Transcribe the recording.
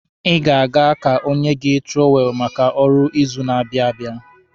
Ị ga-aga ka o nye gị tụrọwelụ maka ọrụ ịzụ na-abịa abịa.